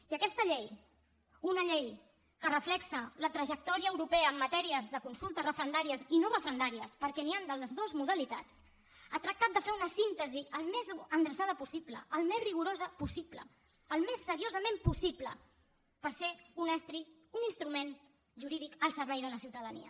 i aquesta llei una llei que reflecteix la trajectòria europea en matèries de consultes referendàries i no referendàries perquè n’hi han de les dues modalitats ha tractat de fer una síntesi al més endreçada possible al més rigorosa possible al més seriosament possible per ser un estri un instrument jurídic al servei de la ciutadania